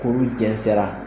Kuru jɛnsɛra